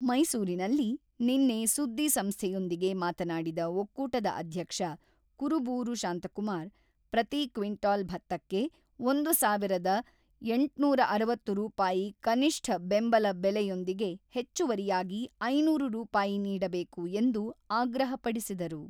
ಮೈಸೂರಿನಲ್ಲಿ ನಿನ್ನೆ ಸುದ್ದಿ ಸಂಸ್ಥೆಯೊಂದಿಗೆ ಮಾತನಾಡಿದ ಒಕ್ಕೂಟದ ಅಧ್ಯಕ್ಷ ಕುರುಬೂರು ಶಾಂತಕುಮಾರ್‌, ಪ್ರತಿ ಕ್ವಿಂಟಾಲ್ ಭತ್ತಕ್ಕೆ ಒಂದು ಸಾವಿರದ ಎಂಟುನೂರ ಅರವತ್ತು ರೂಪಾಯಿ ಕನಿಷ್ಠ ಬೆಂಬಲ ಬೆಲೆಯೊಂದಿಗೆ ಹೆಚ್ಚುವರಿಯಾಗಿ ಐನೂರು ರೂಪಾಯಿ ನೀಡಬೇಕು ಎಂದು ಆಗ್ರಹಪಡಿಸಿದರು.